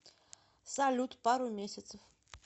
салют пару месяцев